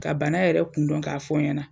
Ka bana yɛrɛ kun dɔn k'a fɔ n ɲɛna;